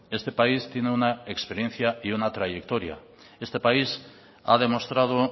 este país tiene una experiencia y una trayectoria este país ha demostrado